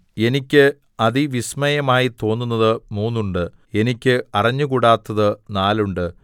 എനിക്ക് അതിവിസ്മയമായി തോന്നുന്നത് മൂന്നുണ്ട് എനിക്ക് അറിഞ്ഞുകൂടാത്തത് നാലുണ്ട്